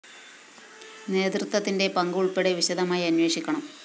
നേതൃത്വത്തിന്റെ പങ്ക് ഉള്‍പ്പെടെ വിശദമായി അന്വേഷിക്കണം